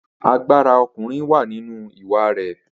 Agbára ọkùnrin wà nínú ìwà rẹ̀.